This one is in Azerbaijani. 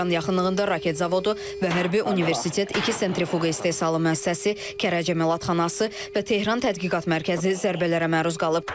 Tehran yaxınlığında raket zavodu və hərbi universitet, iki sentrifuqa istehsalı müəssisəsi, Kərəc əməlatxanası və Tehran tədqiqat mərkəzi zərbələrə məruz qalıb.